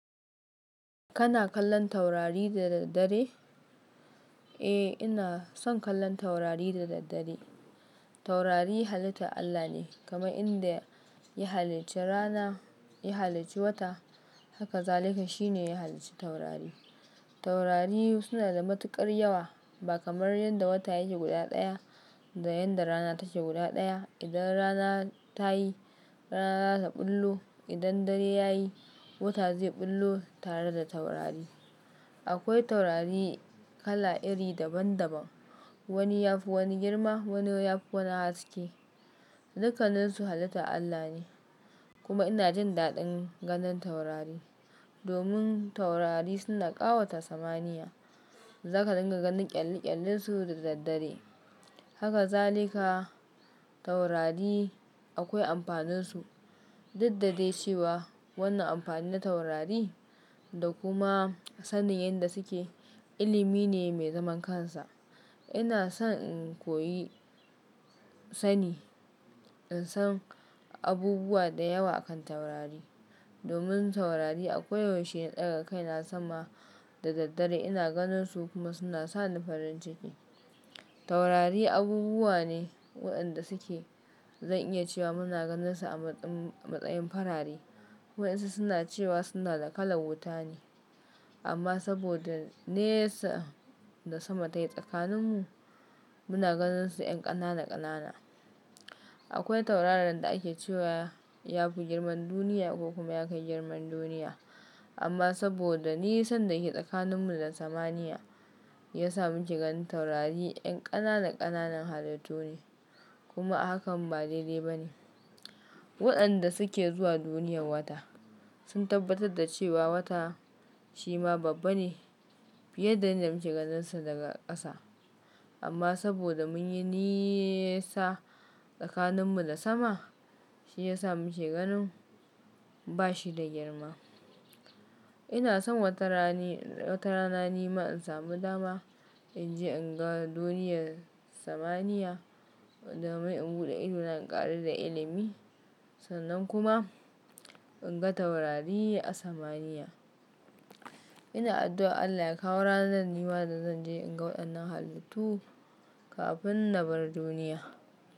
Kana kallon taurari da daddare? Eh, ina son kallon taurari da daddare. Taurari halitta Allah ne. Kaman inda ya halicci rana, ya halicci wata, haka zalika shi ne ya halicci taurari. Taurari suna da matuƙar yawa ba kamar yadda wata yake guda ɗaya da yanda rana take guda ɗaya. Idan rana ta yi, rana za ta ɓullo. Idan dare ya yi, wata zai ɓullo tare da taurari. Akwai taurari kala iri daban-daban. Wani yafi wani girma, wani yafi wani haske. Dukaninsu halittan Allah ne. Kuma ina jin daɗin ganin taurari. Domin taurari suna ƙawata samaniya. Zaka dinga ganin ƙyalle-ƙyallensu da daddare. Haka zalika taurari akwai amfaninsu. Duddade cewa wannan amfani na taurari da kuma sanin yanda suke, ilimi ne mai zaman kansa. Ina son in koyi sani, in san abubuwa da yawa akan taurari. Domin taurari akwai yau she na ɗaga kaina sama da daddare ina ganin su kuma suna sani farin ciki. Taurari abubuwa ne waɗanda suke, zan iya cewa muna ganin su a matsayin farare. Waɗansu suna cewa suna da kala wuta ne. Amma saboda nesa da sama tayi tsakaninmu, muna ganin su yan ƙanana-ƙanana. Akwai tauraran da ake cewa yafi girman duniya ko kuma ya kai girman duniya. Amma saboda nisan dake tsakaninmu da samaniya, ya sa muke ganin taurari yan ƙanana-ƙanana halittu ne. Kuma hakan ba daidai ba ne. Waɗanda suke zuwa duniyar wata sun tabbatar da cewa wata shi ma babba ne fiye da inda muke ganin sa daga ƙasa. Amma saboda mun yi nisa tsakaninmu da sama, shi ya sa muke ganin ba shi da girma. Ina son wata rana nima in samu dama in je in ga duniyar samaniya domin in buɗe ido na in ƙaru da ilimi. Sannan kuma in ga taurari a samaniya. Ina addu'a Allah ya kawo ranar da nima zan je in ga waɗannan halittu kafin na bar duniya.